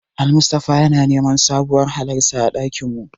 Almustapha yana neman sabuwar hularsa a ɗakin mu.